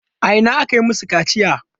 A ina aka yi masu kaciya?